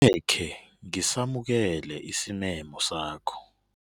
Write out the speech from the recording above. Angekhe ngisamukele isimemo sakho.